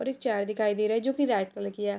और एक चार दिखाई दे रहा हैं जो की रेड कलर की है।